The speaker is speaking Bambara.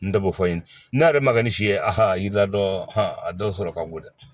N t'o fɔ n ye n'a yɛrɛ ma kɛ ni si ye a yiri la dɔ a dɔw sɔrɔ ka bon dɛ